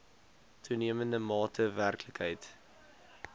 toenemende mate werklikheid